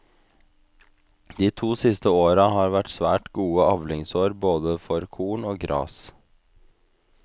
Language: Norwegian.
De to siste åra har vært svært gode avlingsår både for korn og gras.